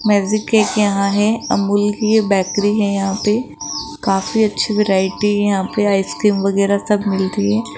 Magic एक यहां है अमूल कि ये बेकरी है यहां पे काफी अच्छी वैरायटी यहां पे आइसक्रीम वगैरा सब मिलती है।